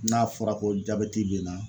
N'a fɔra ko jabɛti b'e la